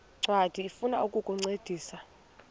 ncwadi ifuna ukukuncedisa